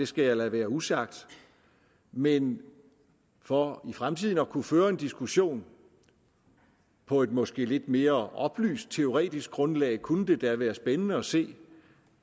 skal jeg lade være usagt men for i fremtiden at kunne føre en diskussion på et måske lidt mere oplyst teoretisk grundlag kunne det da være spændende at se